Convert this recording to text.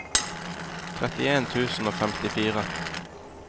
trettien tusen og femtifire